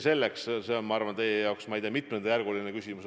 See on, ma arvan, teie jaoks, ma ei tea, mitmenda järgu küsimus.